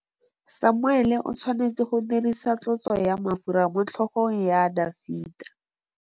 Samuele o tshwanetse go dirisa tlotsô ya mafura motlhôgong ya Dafita.